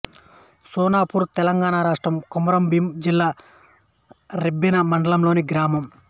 సోనాపూర్ తెలంగాణ రాష్ట్రం కొమరంభీం జిల్లా రెబ్బెన మండలంలోని గ్రామం